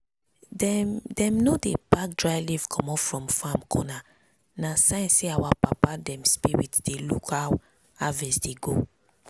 dem dem no dey pack dry leaf comot from farm corner na sign say our papa dem spirit dey look how harvest dey go.